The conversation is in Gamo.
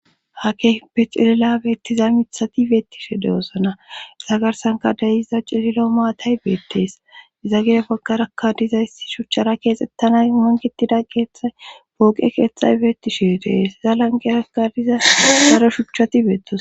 ha ke pe cilila beettiza mithati beettishe de7osana za garsanka deyiza cililo maatay beettees iza gire paggarakka diza issi shuchchara keexettanay mongitida keeththay booqe keeththay beettishe dees iza lanqera ka diza garo shuchchati beettos